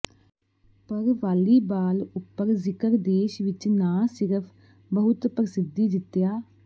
ਪਰ ਵਾਲੀਬਾਲ ਉੱਪਰ ਜ਼ਿਕਰ ਦੇਸ਼ ਵਿਚ ਨਾ ਸਿਰਫ ਬਹੁਤ ਪ੍ਰਸਿੱਧੀ ਜਿੱਤਿਆ